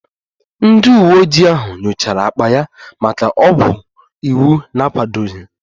Ndị uweojii ahụ nyochara akpa ya maka ọgwụ iwu na-akwadoghị